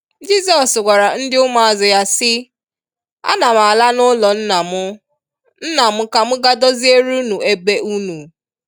Jizọs gwara ndi ụmụazụ ya si, “a na m ala n'ulọ nna m nna m ka m ga doziere unu ebe unu.